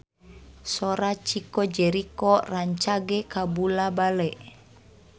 Sora Chico Jericho rancage kabula-bale